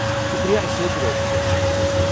شُکریہ اسہِ سۭتۍ رٲبطہٕ کرنہٕ خٲطرٕ۔